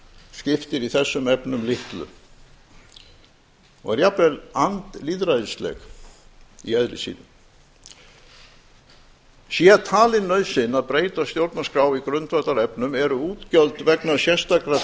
skiptir í þessum efnum litlu og er jafnvel andlýðræðisleg í eðli sínu sé talin nauðsyn að breyta stjórnarskrá í grundvallarefnum eru útgjöld vegna sérstakrar